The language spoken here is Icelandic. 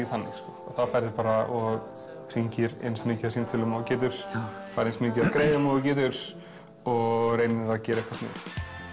þannig og þá ferðu og hringir eins mikið af símtölum og þú getur færð eins mikið af greiðum og þú getur og reynir að gera eitthvað sniðugt